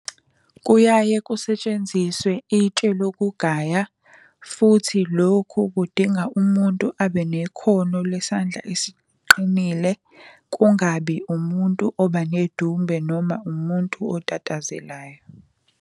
Kuyaye kusetshenziswe itshe lokugaya futhi lokhu kudinga umuntu abe nekhono lwesandla esiqinile. Kungabi umuntu oba nedumbe noma umuntu otatazelayo.